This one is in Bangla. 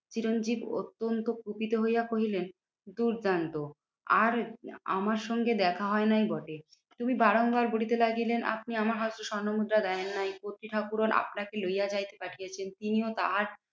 চিরঞ্জিত অত্যন্ত কুপিত হইয়া কহিলেন, দূর্দান্ত আর আমার সঙ্গে দেখা হয় নাই বটে তুমি বারংবার বলিতে লাগিলেন, আপনি আমার হস্তে স্বর্ণমুদ্রা দেয়েন নাই কর্ত্রী ঠাকুরন আপনাকে লইয়া যাইতে পাঠিয়েছেন। তিনিও তাহার